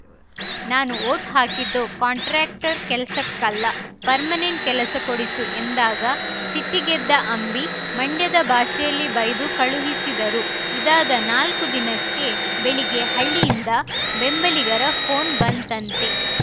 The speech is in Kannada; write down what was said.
ನಾನು ವೋಟ್‌ ಹಾಕಿದ್ದು ಕಾಂಟ್ರಾಕ್ಟರ್ ಕೆಲಸಕ್ಕೆ ಅಲ್ಲ ಪರ್ಮನೆಂಟ್‌ ಕೆಲಸ ಕೊಡಿಸು ಎಂದಾಗ ಸಿಟ್ಟಿಗೆದ್ದ ಅಂಬಿ ಮಂಡ್ಯದ ಭಾಷೆಯಲ್ಲಿ ಬೈದು ಕಳುಹಿಸಿದರು ಇದಾದ ನಾಲ್ಕು ದಿನಕ್ಕೆ ಬೆಳಿಗ್ಗೆ ಹಳ್ಳಿಯಿಂದ ಬೆಂಬಲಿಗರ ಫೋನ್‌ ಬಂತಂತೆ